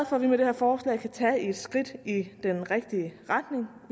for at vi med det her forslag kan tage et skridt i den rigtige retning